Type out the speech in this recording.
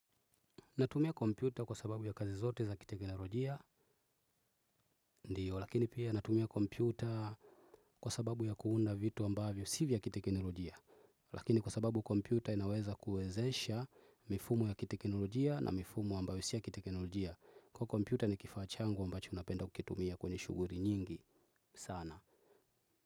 Natumia kompyuta kwa sababu ya kazi zote za kiteknolojia ndiyo lakini pia natumia kompyuta kwa sababu ya kuunda vitu ambavyo si vya kiteknolojia lakini kwa sababu kompyuta inaweza kuwezesha mifumo ya kiteknolojia na mifumo ambayo si ya kiteknolojia kwa kompyuta ni kifaa changu ambacho napenda kukitumia kwenye shughuli nyingi sana.